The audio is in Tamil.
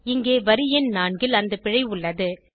இங்கே வரி எண் 4 ல் அந்த பிழை உள்ளது